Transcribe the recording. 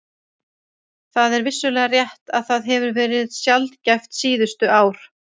Það er vissulega rétt að það hefur verið sjaldgæft síðustu ár.